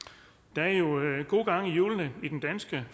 der er jo god gang i hjulene i den danske